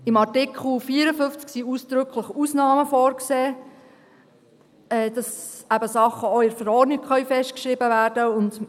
Im Artikel 54 sind ausdrücklich Ausnahmen vorgesehen, sodass eben auch Sachen in der Verordnung festgeschrieben werden können.